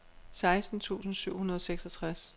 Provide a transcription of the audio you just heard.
seksten tusind syv hundrede og seksogtres